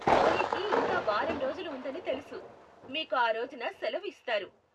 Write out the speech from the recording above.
హోళీకి ఇంకా వారం రోజులు ఉందని తెలుసు, మీకు ఆ రోజున శెలవు ఇస్తారు.